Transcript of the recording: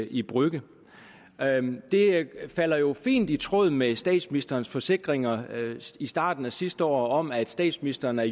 i brügge det falder jo fint i tråd med statsministerens forsikringer i starten af sidste år om at statsministeren er